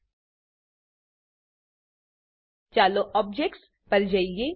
ચાલો objects objects પર જઈએ